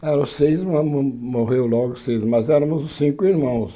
Era seis, mas mo morreu logo seis, mas éramos cinco irmãos.